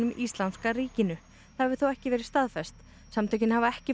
Íslamska ríkinu það hefur þó ekki verið staðfest samtökin hafa ekki